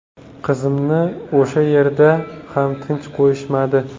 Qizimni o‘sha yerda ham tinch qo‘yishmadi.